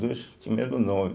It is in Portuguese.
As duas tinham o mesmo nome.